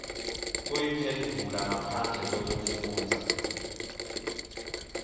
kuyiphendvula ngaphandle kwekufundza